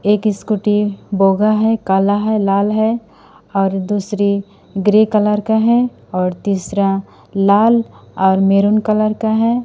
एक स्कूटी बोगा है काला है लाल है और दूसरी ग्रे कलर का है और तीसरा लाल और मैरून कलर का है।